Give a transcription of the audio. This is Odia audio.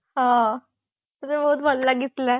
ହଁ ମତେ ତ ବହୁତ ଭଲ ଲାଗିଥିଲା